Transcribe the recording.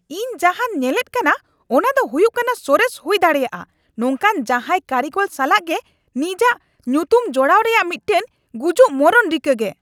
ᱤᱧ ᱡᱟᱦᱟᱸᱧ ᱧᱮᱞᱮᱫ ᱠᱟᱱᱟ ᱚᱱᱟ ᱫᱚ ᱦᱩᱭᱩᱜ ᱠᱟᱱᱟ ᱥᱚᱨᱮᱥ ᱦᱩᱭ ᱫᱟᱲᱮᱭᱟᱜᱼᱟ ᱱᱚᱝᱠᱟᱱ ᱡᱟᱦᱟᱭ ᱠᱟᱹᱨᱤᱜᱚᱞ ᱥᱟᱞᱟᱜ ᱜᱮ ᱱᱤᱡᱟᱜ ᱧᱩᱛᱩᱢ ᱡᱚᱲᱟᱣ ᱨᱮᱭᱟᱜ ᱢᱤᱫᱴᱟᱝ ᱜᱩᱡᱩᱜ ᱢᱚᱨᱚᱱ ᱨᱤᱠᱟᱹ ᱜᱮ ᱾